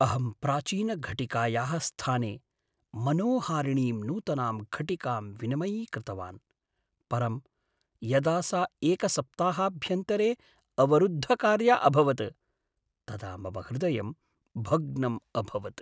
अहं प्राचीनघटिकायाः स्थाने मनोहारिणीं नूतनां घटिकां विनिमयीकृतवान्, परं यदा सा एकसप्ताहाभ्यन्तरे अवरुद्धकार्या अभवत् तदा मम हृदयं भग्नम् अभवत्।